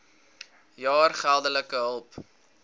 jaar geldelike hulp